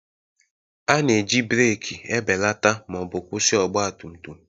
A na-eji breeki ebelata ma ọ bụ kwụsị ọgba tum tum